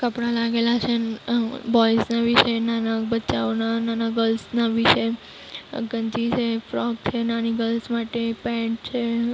કપડા લાગેલા છે અ બોઇસ ના બી છે નાના બચ્ચાઓના નાના ગર્લ્સ ના બી છે ગંજી છે ફ્રોક છે નાની ગર્લ્સ પેન્ટ છે.